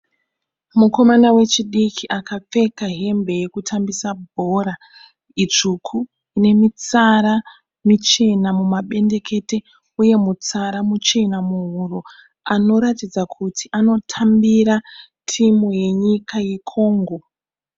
Mukomana wechidiki akapfeka hembe yekutambisa bhora itsvuku ine mitsara michena mumabendekete uye mutsara muchena muhuro. Anoratidza kuti anotambira timu yenyika yeCongo.